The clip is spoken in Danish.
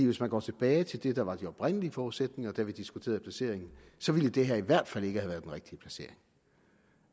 hvis man går tilbage til det der var de oprindelige forudsætninger da vi diskuterede placeringen så ville det her i hvert fald ikke rigtige placering